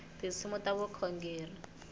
tinsimu ta vukhongeri